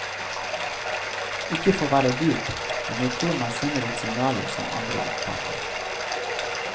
Ikke for å være dyp, men jeg tror man sender ut signaler som andre oppfatter.